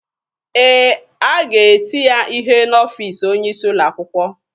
Ee, a ga-eti ya ihe n'ọfiisi onye isi ụlọ akwụkwọ.